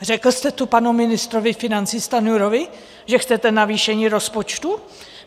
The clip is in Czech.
Řekl jste to panu ministrovi financí Stanjurovi, že chcete navýšení rozpočtu?